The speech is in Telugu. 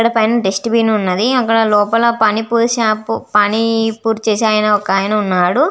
అక్కడ పైన డస్ట్బిన్ వున్నది అక్కడ లోపల పానిపురి షాప్ పానీపూరి చేసే ఒక ఆయన వున్నాడు.